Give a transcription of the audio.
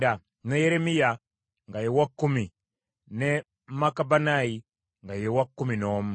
ne Yeremiya nga ye wa kkumi, ne Makubannayi nga ye wa kkumi n’omu.